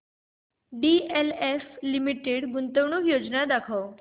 DLF limited गुंतवणूक योजना दाखव